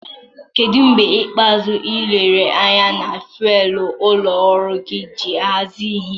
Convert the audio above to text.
Kedu mgbe ikpeazụ ị lere anya na faịlụ ụlọ ọrụ gị iji hazie ihe?